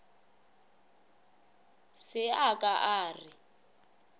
se a ka a re